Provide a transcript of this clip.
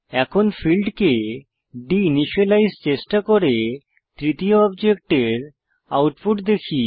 এখন ফীল্ডকে deinitialize চেষ্টা করে তৃতীয় অবজেক্টের আউটপুট দেখি